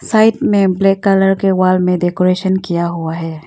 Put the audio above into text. में black colour के wall में डेकोरेशन किया हुआ है।